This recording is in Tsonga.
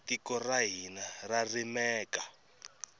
tiko ra hina ra rimeka